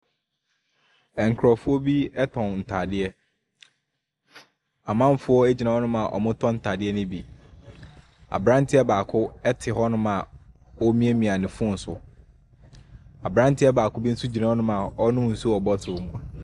Nkurofoɔ bi ɛtɔn ntaadeɛ. Amanfoɔ egyina hɔnom a ɔmo tɔ ntaadeɛ no bi. Abranteɛ baako ɛte hɔnom a omiamia ne fon so. Abranteɛ baako bi nso gyina hɔnom a ɔnom nsuo wɔ bɔtol mu.